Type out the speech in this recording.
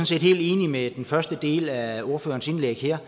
set helt enig i den første del af ordførerens indlæg her